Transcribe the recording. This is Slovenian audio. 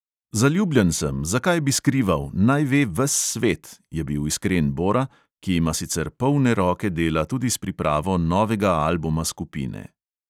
"Zaljubljen sem, zakaj bi skrival, naj ve ves svet!" je bil iskren bora, ki ima sicer polne roke dela tudi s pripravo novega albuma skupine.